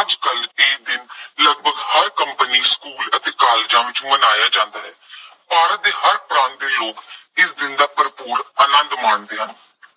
ਅੱਜ ਕੱਲ੍ਹ ਇਹ ਦਿਨ ਲਗਭਗ ਹਰ ਕੰਪਨੀ, ਸਕੂਲ ਅਤੇ ਕਾਲਜਾਂ ਵਿੱਚ ਮਨਾਇਆ ਜਾਂਦਾ ਹੈ। ਭਾਰਤ ਦੇ ਹਰ ਪ੍ਰਾਂਤ ਦੇ ਲੋਕ ਇਸ ਦਿਨ ਦਾ ਭਰਪੂਰ ਆਨੰਦ ਮਾਣਦੇ ਹਨ।